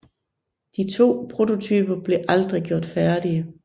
De to prototyper blev aldrig gjort færdige